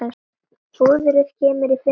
Púðrið kemur í fimm litum.